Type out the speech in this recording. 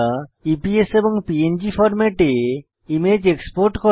EPS এবং PNG ফরম্যাটে image export করা